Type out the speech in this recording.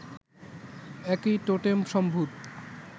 একই টোটেম-সম্ভূত